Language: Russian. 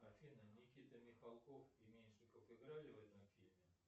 афина никита михалков и меньшиков играли в этом фильме